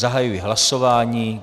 Zahajuji hlasování.